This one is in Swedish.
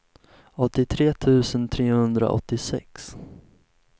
åttiotre tusen trehundraåttiosex